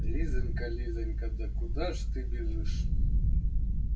лизанька лизанька да куда ж ты бежишь